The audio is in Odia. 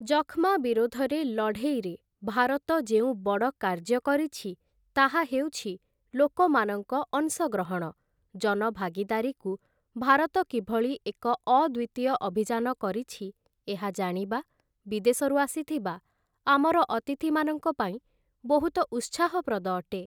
ଯକ୍ଷ୍ମା ବିରୋଧରେ ଲଢ଼େଇରେ ଭାରତ ଯେଉଁ ବଡ଼ କାର୍ଯ୍ୟ କରିଛି, ତାହା ହେଉଛି ଲୋକମାନଙ୍କ ଅଂଶଗ୍ରହଣ, ଜନଭାଗିଦାରୀକୁ ଭାରତ କିଭଳି ଏକ ଅଦ୍ୱିତୀୟ ଅଭିଯାନ କରିଛି, ଏହା ଜାଣିବା, ବିଦେଶରୁ ଆସିଥିବା ଆମର ଅତିଥିମାନଙ୍କ ପାଇଁ ବହୁତ ଉତ୍ସାହପ୍ରଦ ଅଟେ ।